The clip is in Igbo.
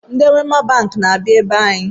Ndị Wema banki na-abịa ebe anyị